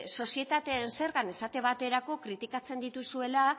sozietateen zergan esate baterako kritikatzen dituzuela